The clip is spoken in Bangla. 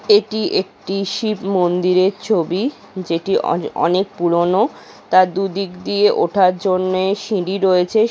এটি একটি শিব মন্দিরের ছবি যেটি অনে অনেক পুরনো তার দুদিক দিয়ে ওঠার জন্য সিঁড়ি রয়েছে -এ।